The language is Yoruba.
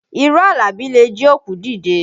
Irọ́ Àlàbí le jí òkú dìde